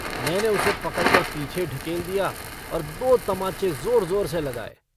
मैंने उसे पकड़कर पीछे ढकेल दिया और दो तमाचे ज़ोर-ज़ोर से लगाये।